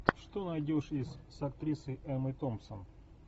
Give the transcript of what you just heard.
что найдешь из с актрисой эммой томпсон